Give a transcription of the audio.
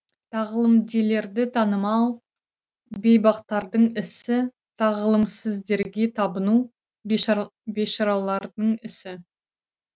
тағылымделерді танымау бейбақтардың ісі тағылымсіздерге табыну бейшаралардың ісі